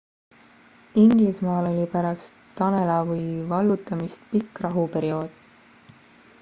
inglismaal oli pärast danelawi vallutamist pikk rahuperiood